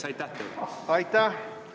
Aitäh!